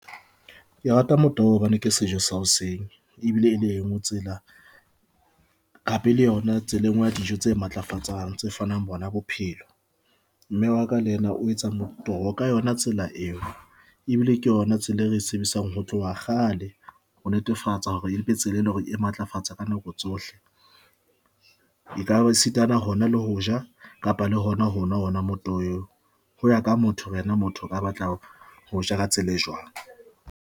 Ke rata motoho hobane ke sejo sa hoseng ebile e le engwe tsela, hape le yona tsela engwe ya dijo tse matlafatsang tse fanang bona bophelo. Mme wa ka le ena o etsa motoho ka yona tsela eo ebile ke yona tsela e re e sebedisang ho tloha kgale ho netefatsa hore e mpe tsela, e leng hore e matlafatsa ka nako tsohle. E ka sitana hona le ho ja kapa le hona hona honwa motoho oo ho ya ka motho yena motho o ka batlang ho ja ka tsela e jwang.